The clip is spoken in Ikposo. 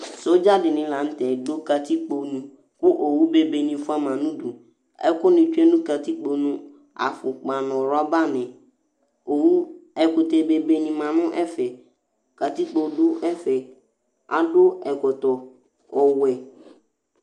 sɔdza dini latɛ du katikpo nu ku owu bébé ni fuama nu du ɛkuni tsué nu katikpo nu afukpa nu rɔba ni owu ɛkutɛ bébé ni ma nɛ ɛfɛ katikpo du ɛfɛ adu ɛkɔtɔ ɔwɛ